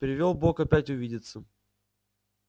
привёл бог опять увидеться